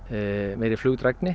meiri